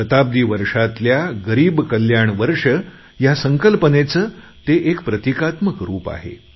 शताब्दी वर्षातल्या गरीब कल्याण वर्ष ह्या संकल्पनेचे ते एक प्रतीकात्मक रूप आहे